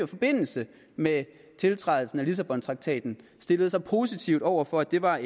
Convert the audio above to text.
forbindelse med tiltrædelsen af lissabontraktaten stillede sig positiv over for at det var